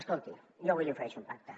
escolti jo avui li ofereixo un pacte